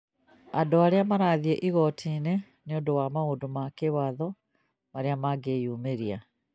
andũ rĩu marathiĩ igoti-inĩ nĩ ũndũ wa maũndũ ma kĩwatho marĩa mangĩyumĩria